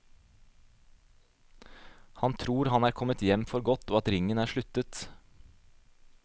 Han tror han er kommet hjem for godt og at ringen er sluttet.